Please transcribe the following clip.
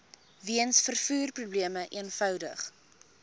weens vervoerprobleme eenvoudig